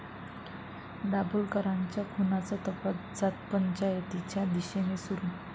दाभोलकरांच्या खुनाचा तपास जातपंचायतीच्या दिशेने सुरू